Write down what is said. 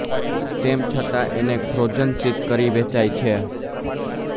તેમ છતાં એને ફ્રોઝન શીત કરી વેચાય છે